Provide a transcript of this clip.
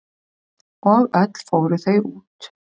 Og öll fóru þau út.